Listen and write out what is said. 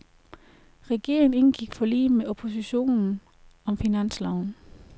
Regeringen indgik forlig med oppositionen om finansloven.